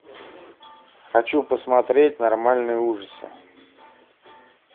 хочу посмотреть нормальные ужасы